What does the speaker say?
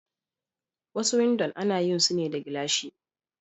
Wasu windo ana yin sune da gilashi.